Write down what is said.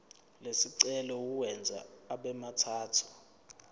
lesicelo uwenze abemathathu